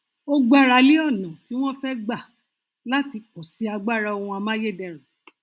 ó gbára lé ọnà tí wọn fẹ gbà láti pọsi agbára ohun amáyédẹrùn